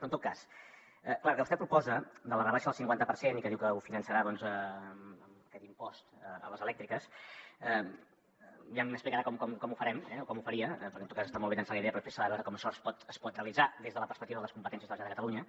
però en tot cas clar el que vostè proposa de la rebaixa del cinquanta per cent i que diu que ho finançarà doncs amb aquest impost a les elèctriques ja m’explicarà com ho farem o com ho faria perquè en tot cas està molt bé llançar la idea però després s’ha de veure com això es pot realitzar des de la perspectiva de les competències de la generalitat de catalunya